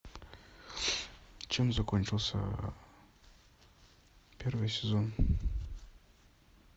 чем закончился первый сезон